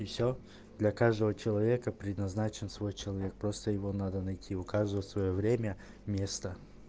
и все для каждого человека предназначен свой человек просто его надо найти у каждого своё время место